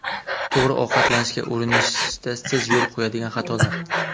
To‘g‘ri ovqatlanishga urinishda siz yo‘l qo‘yadigan xatolar.